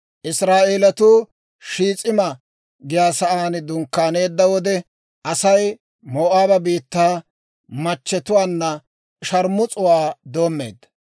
Israa'eelatuu Shiis'ima giyaa saan dunkkaaneedda wode, Asay Moo'aaba biittaa machchetuwaanna shaarmus'uwaa doommeedda.